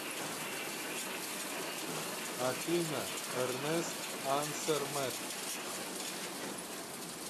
афина эрнест ансэрмэт